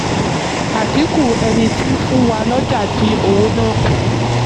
adínkù: ẹni tí ń fún wa lọ́jà dín owó náà kù.